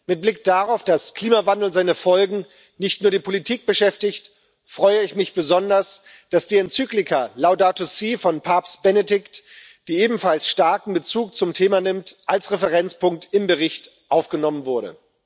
Mit Blick darauf, dass Klimawandel und seine Folgen nicht nur die Politik beschäftigen, freue ich mich besonders, dass die Enzyklika Laudato si' von Papst Franziskus, die ebenfalls starken Bezug zum Thema nimmt, als Referenzpunkt in den Bericht aufgenommen wurde.